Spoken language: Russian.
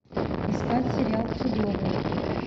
искать сериал тюдоры